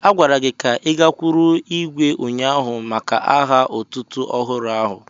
A gwara gị ka I gakwụrụ ihwé ụnyaahụ maka aha otútú ọhụrụ áhù